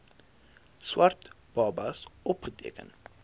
swart babas opgeteken